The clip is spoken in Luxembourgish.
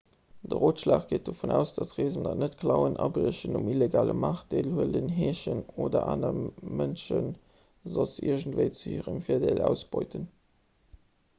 de rotschlag geet dovun aus datt reesender net klauen abriechen um illegale maart deelhuelen heeschen oder aner mënsche soss iergendwéi zu hirem virdeel ausbeuten